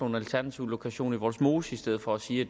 en alternativ lokation i vollsmose i stedet for at sige